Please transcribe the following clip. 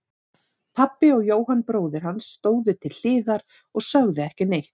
Pabbi og Jóhann bróðir hans stóðu til hliðar og sögðu ekki neitt.